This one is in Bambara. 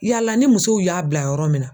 Yala ni musow y'a bila yɔrɔ min na.